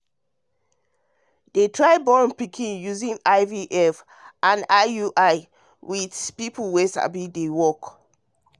to dey try born pikin using ivf and iui with people wey sabi deywork